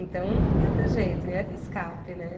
Então, não ia ter jeito, ia ter escape, né?